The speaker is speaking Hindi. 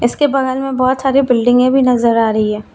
इसके बगल में बहुत सारी बिल्डिंगे भी नजर आ रही है।